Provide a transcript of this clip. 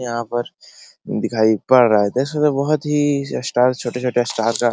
यहाँ पर दिखाई पर रहा है देख सकते हैं बहुत ही स्टार छोटे-छोटे स्टार का --